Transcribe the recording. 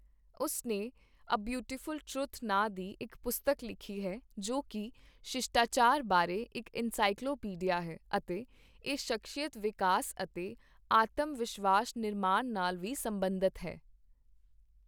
ਉਸ ਨੇ A Beautiful Truth ਨਾਂ ਦੀ ਇੱਕ ਪੁਸਤਕ ਲਿਖੀ ਹੈ, ਜੋ ਕਿ ਸ਼ਿਸ਼ਟਾਚਾਰ ਬਾਰੇ ਇੱਕ ਐਨਸਾਈਕਲੋ ਪੀਡੀਆ ਹੈ ਅਤੇ ਇਹ ਸ਼ਖਸੀਅਤ ਵਿਕਾਸ ਅਤੇ ਆਤਮ-ਵਿਸ਼ਵਾਸ ਨਿਰਮਾਣ ਨਾਲ ਵੀ ਸਬੰਧਤ ਹੈ।